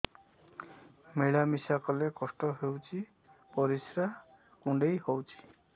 ମିଳା ମିଶା କଲେ କଷ୍ଟ ହେଉଚି ପରିସ୍ରା କୁଣ୍ଡେଇ ହଉଚି